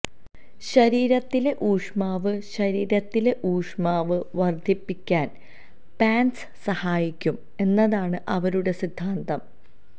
ശരീരത്തിലെ ഊഷ്മാവ് ശരീരത്തിലെ ഊഷ്മാവ് വർദ്ധിപ്പിക്കാൻ പാന്റ്സ് സഹായിക്കും എന്നതാണ് അവരുടെ സിദ്ധാന്തം